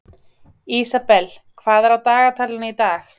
Ísabel, hvað er á dagatalinu í dag?